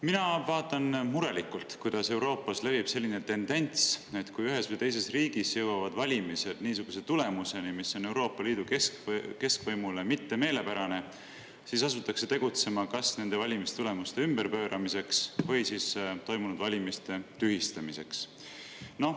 Mina vaatan murelikult, kuidas Euroopas levib selline tendents, et kui ühes või teises riigis jõuavad valimised niisuguse tulemuseni, mis ei ole Euroopa Liidu keskvõimule meelepärane, siis asutakse tegutsema kas nende valimistulemuste ümberpööramiseks või siis toimunud valimiste tühistamiseks.